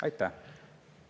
Aitäh!